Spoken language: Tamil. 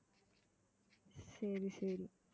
சரி சரி